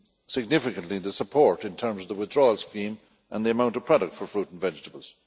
significantly the support in terms of the withdrawal scheme and the amount of product for fruit and vegetables.